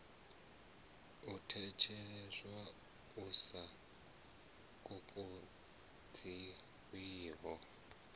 u theliswaho u sa kokodziwiho